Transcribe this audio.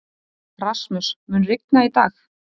Rasmus, mun rigna í dag?